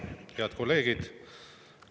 Head kolleegid!